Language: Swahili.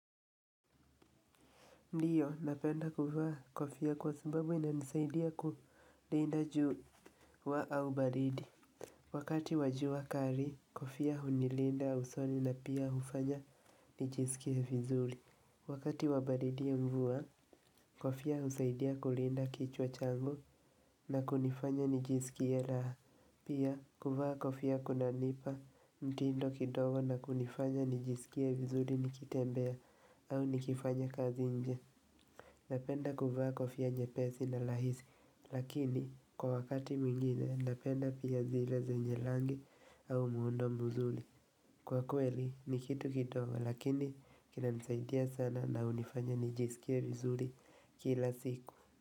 Ndiyo, napenda kuvaa kofia kwa sababu inanisaidia kulinda jua au baridi. Wakati wa jua kali kofia hunilinda usoni na pia ufanya nijisikie vizuri. Wakati wa baridi mvua, kofia husaidia kulinda kichwa changu na kunifanya nijisikie raha. Pia, kuvaa kofia kunanipa mtindo kidogo na kunifanya nijisikie vizuri nikitembea au nikifanya kazi nje. Napenda kuvaa kofia nyepesi na rahisi, lakini kwa wakati mwingine napenda pia zile zenye rangi au muundo mzuri. Kwa kweli ni kitu kidogo, lakini kinanisaidia sana na unifanya nijisikie vizuri kila siku.